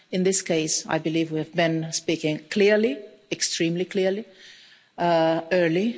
In this case, I believe we have been speaking clearly extremely clearly and early.